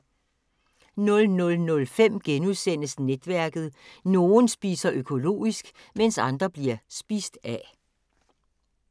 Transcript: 00:05: Netværket: Nogen spiser økologisk, mens andre bliver spist af *